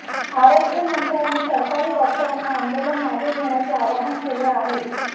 आरोग्यमंत्र्यांनी सरकारी डॉक्टरांना आंदोलन मागे घेण्याचे आवाहन केले आहे